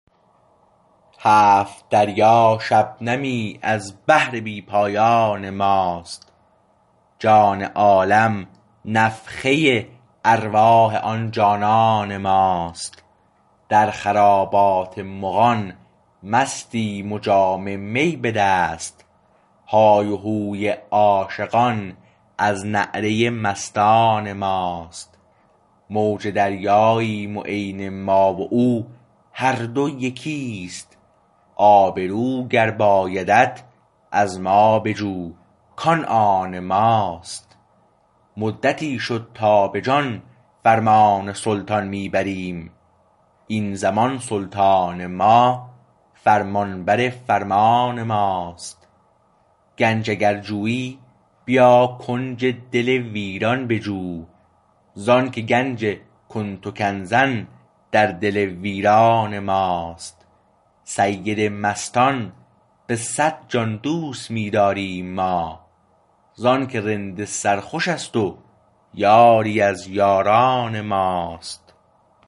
هفت دریا شبنمی از بحر بی پایان ما است جان عالم نفخه ارواح آن جانان ما است در خرابات مغان مستیم و جام می به دست های و هوی عاشقان از نعره مستان ما است موج دریاییم و عین ما و او هر دو یکی است آبرو گر بایدت از ما بجو کان آن ما است مدتی شد تا به جان فرمان سلطان می بریم این زمان سلطان ما فرمانبر فرمان ما است گنج اگر جویی بیا کنج دل ویران بجو ز انکه گنج کنت کنزا در دل ویران ما است سید مستان به صد جان دوست می داریم ما ز انکه رند سر خوش است و یاری از یاران ما است